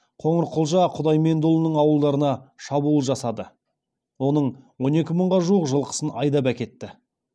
қоңырқұлжа құдаймендіұлының ауылдарына шабуыл жасады оның он екі мыңға жуық жылқысын айдап әкетті